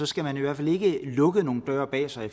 skal man i hvert fald ikke lukket nogen døre bag sig